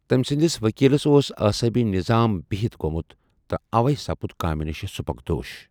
تمۍ سندس وکیلس اوس اعصٲبی نظام بہِتھ گومت تہ اوے سپُد کامہ نشہ سبکدوش۔